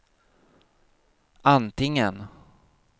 antingen